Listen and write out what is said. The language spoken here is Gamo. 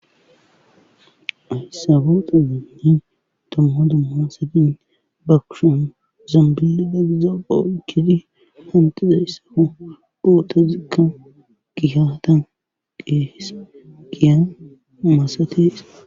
Hayssa booxadanni dumma dumma asatin ba kusha zambili dagiza oonkidi hantida yssafu boota zikka gihatan qees giya maasates.